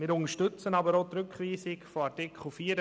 Wir unterstützen aber auch die Rückweisung von Artikel 84.